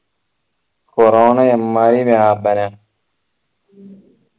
corona എമ്മാരി വ്യാപന